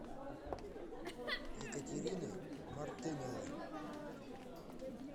екатерины мартыновой